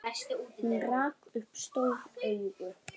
Hún rak upp stór augu.